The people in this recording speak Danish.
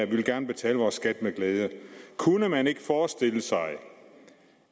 vi vil gerne betale vores skat med glæde kunne man ikke forestille sig